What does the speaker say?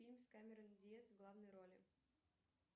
фильм с камерон диаз в главной роли